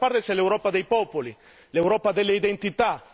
Dall'altra parte c'è l'Europa dei popoli, l'Europa delle identità.